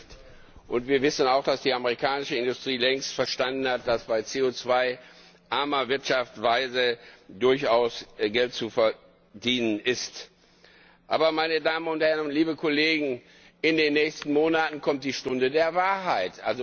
Das hilft, und wir wissen auch, dass die amerikanische Industrie längst verstanden hat, dass bei CO armer Wirtschaftsweise durchaus Geld zu verdienen ist. Aber, meine Damen und Herren, in den nächsten Monaten kommt die Stunde der Wahrheit.